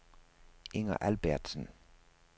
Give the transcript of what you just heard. Inger Albertsen